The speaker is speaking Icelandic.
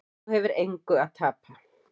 Þú hefur engu að tapa.